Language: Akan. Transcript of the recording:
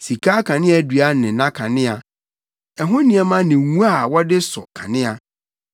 sika akaneadua ne nʼakanea, ɛho nneɛma ne ngo wɔde sɔ kanea;